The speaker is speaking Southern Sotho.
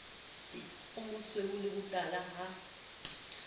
o mosweu le botala ha